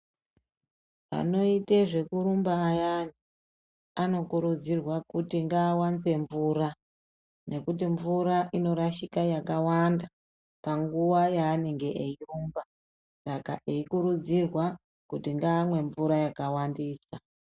Anoite zvekurumba ayani anokurudzirwa kuti ngaawanze mvura nekuti mvura inorashika yakawanda panguwa yaanenge eirumba saka eikurudzirwa kuti ngaamwe mvura yakawandisa.